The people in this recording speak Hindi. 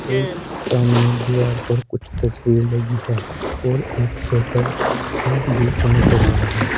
और सामने दीवार पर कुछ तस्वीर लगी है और एक शेटर का भी चमक रहा है।